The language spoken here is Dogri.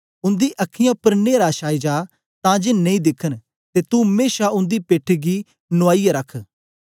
उन्दी अखीयैं उपर न्हेरा छाई जा तां जे नेई दिखन ते तू मेशा उन्दी पेठ गी नुआईयै रख